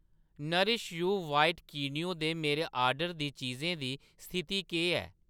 nourish You चिट्टा quinoa दे मेरे आर्डर दी चीजें दी स्थिति केह् ऐ